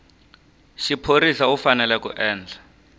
xiphorisa u fanele ku endla